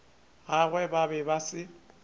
gagwe ba be ba se